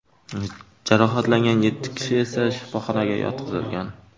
Jarohatlangan yetti kishi esa shifoxonaga yotqizilgan.